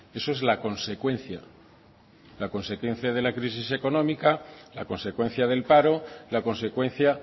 eso es la consecuencia la consecuencia de la crisis económica la consecuencia del paro la consecuencia